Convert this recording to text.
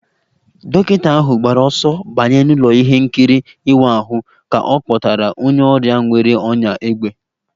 Dọkịta ahụ gbara ọsọ banye n'ụlọ ihe nkiri ịwa ahụ ka a kpọtara onye ọrịa nwere ọnyá égbè